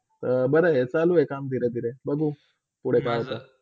बर हे! काम चालू आहे धीरे - धीरे, बघू पुडे काय होत.